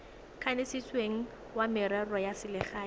kanisitsweng wa merero ya selegae